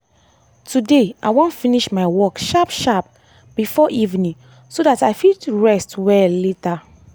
today i wan finish my work sharp sharp before evening so that i fit rest well later.